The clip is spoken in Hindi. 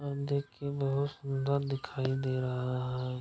और देख के बहुत सुन्दर दिखाई दे रहा है।